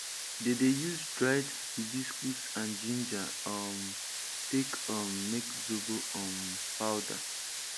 dey dey use dried hibiscus and ginger um take um make zobo um powder